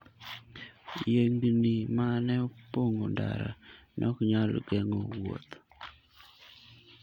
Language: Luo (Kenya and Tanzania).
Yiengini ma ne opong'o ndara ne ok nyal geng'o wuoth.